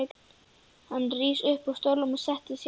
Hann rís upp úr stólnum og sest hjá henni.